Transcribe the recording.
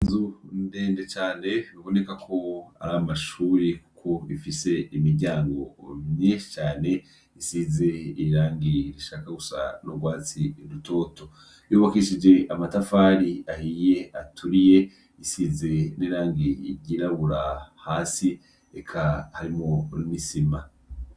Inzu ni ndende cane biboneka ko ari amashuri kuko ifise imiryango myinshi cane isize irangi rishaka gusa n'urwatsi rutoto. Yubakishije amatafari ahiye aturiye, isize n'irangi ry'irabura hasi, eka harimwo n'isima.